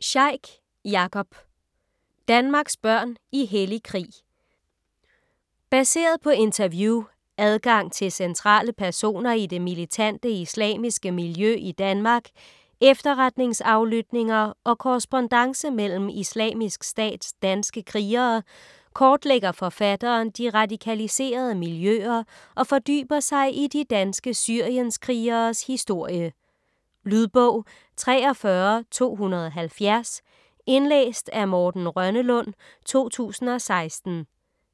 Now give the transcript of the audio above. Sheikh, Jakob: Danmarks børn i hellig krig Baseret på interview, adgang til centrale personer i det militante islamistiske miljø i Danmark, efterretningsaflytninger og korrespondance mellem Islamisk Stats danske krigere, kortlægger forfatteren de radikaliserede miljøer og fordyber sig i de danske syrienskrigeres historie. Lydbog 43270 Indlæst af Morten Rønnelund, 2016.